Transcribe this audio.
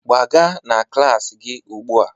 Gbaga na klas gị ugbu a